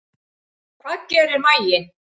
Hvað gerir maginn?